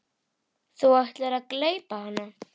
Þú ætlaðir að gleypa hana.